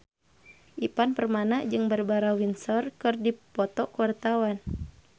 Ivan Permana jeung Barbara Windsor keur dipoto ku wartawan